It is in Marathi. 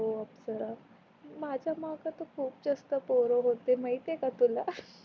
हो अप्सरा माझ्या माग तर खूप जास्त पोर होते माहित आहे का तुला